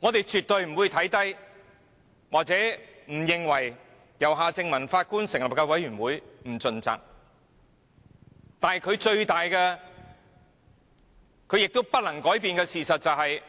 我們絕對沒有看扁或認為由前法官夏正民擔任主席的調查委員會不盡責，但連他也不能改變的事實是，調查委